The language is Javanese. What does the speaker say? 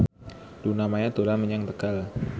Luna Maya dolan menyang Tegal